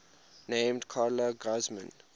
named carla guzman